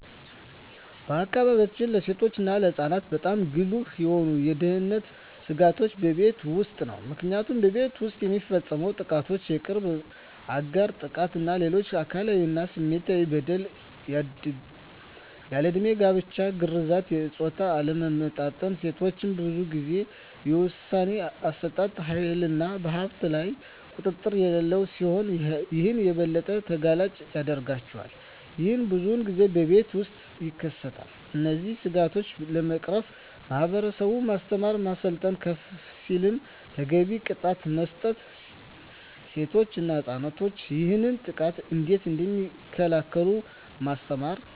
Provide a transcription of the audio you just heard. በአካባቢዎ ለሴቶች እና ለህፃናት በጣም ጉልህ የሆኑ የደህንነት ስጋቶች በቤት ውስጥ ነው። ምክንያቱም ቤት ውስጥ የሚፈፀሙ ጥቃቶች የቅርብ አጋር ጥቃት እና ሌሎች አካላዊ እና ስሜታዊ በደል፣ ያልድሜ ጋብቻ፣ ግርዛት፣ የፆታ አለመመጣጠን፣ ሴቶች ብዙን ጊዜ የውሣኔ አሠጣጥ ሀይልና በሀብቶች ላይ ቁጥጥር የሌላቸው ሲሆን ይህም የበለጠ ተጋላጭ ያደርጋቸዋል። ይህም ብዙን ጊዜ በቤት ውስጥ ይከሰታል። እነዚህን ስጋቶች ለመቅረፍ ማህበረሰቡን ማስተማር፣ ማሰልጠን፣ ከፍ ሲልም ተገቢውን ቅጣት መስጠት፣ ሴቶች እና ህፃናት ይህንን ጥቃት እንዴት እደሚከላከሉ ማስተማር።